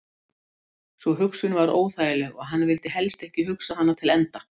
Sú hugsun var óþægileg og hann vildi helst ekki hugsa hana til enda.